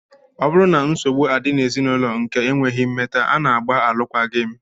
Ọ bụrụ na nsogbu adị n'ezinụlọ nke ekweghị mmeta, a na-agba alụkwaghị m